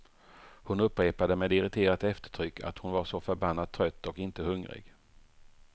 Hon upprepade med irriterat eftertryck att hon var så förbannat trött och inte hungrig.